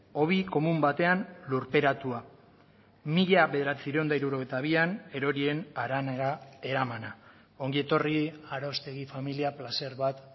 hobi komun batean lurperatua mila bederatziehun eta hirurogeita bian erorien haranera eramana ongietorri aroztegi familia plazer bat